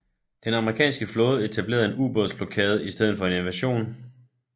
Den amerikanske flåde etablerede en ubåds blokade i stedet for en invasion